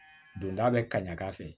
Don da bɛ ka ɲa k'a fɛ